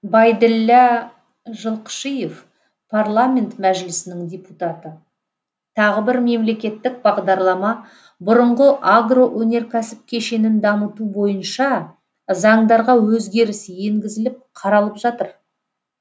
байділлә жылқышиев парламент мәжілісінің депутаты тағы бір мемлекеттік бағдарлама бұрынғы агроөнеркәсіп кешенін дамыту бойынша заңдарға өзгеріс енгізіліп қаралып жатыр